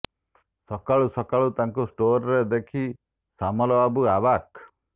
ସକାଳୁ ସକାଳୁ ତାକୁ ଷ୍ଟୋର୍ରେ ଦେଖି ସାମଲ ବାବୁ ଆବାକ୍